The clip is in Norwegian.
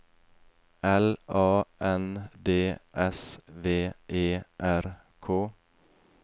L A N D S V E R K